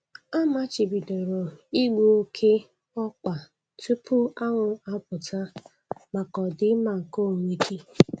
Amachibidoro igbu oke ọkpa tupu anwụ apụta maka ọdịmma nke onwe gị.